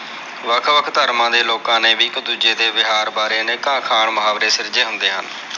ਵੱਖ ਵੱਖ ਧਰਮਾਂ ਦੇ ਲੋਕਾ ਨੇ ਵੀ ਇਕ ਦੂਜੇ ਦੇ ਵਿਹਾਰ ਬਾਰੇ ਅਨੇਕਾਂ ਅੱਖਾਂ ਮੁਹਾਵਰੇ ਸਿਰਜੇ ਹੁੰਦੇ ਹਨ।